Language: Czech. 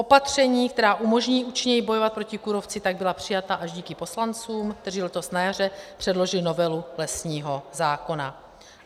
Opatření, která umožní účinněji bojovat proti kůrovci, tak byla přijata až díky poslancům, kteří letos na jaře předložili novelu lesního zákona.